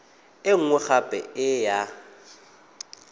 e nngwe gape e ya